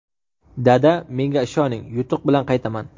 "Dada, menga ishoning, yutuq bilan qaytaman".